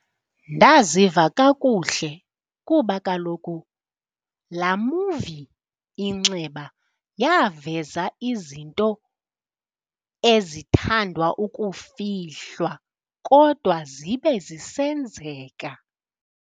Ndaziva kakuhle kuba kaloku laa muvi Inxeba yaveza izinto ezithandwa ukufihlwa kodwa zibe zisenzeka.